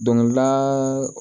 Dɔnkilida